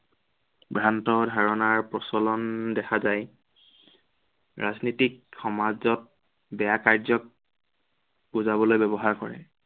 ভ্ৰান্ত ধাৰণাৰ প্ৰচলন দেখা যায়। ৰাজনীতিক সমাজক, বেয়া কাৰ্যক বুজাবলৈ ব্য়ৱহাৰ কৰে।